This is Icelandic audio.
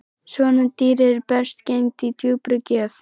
Svona dýr eru best geymd í djúpri gröf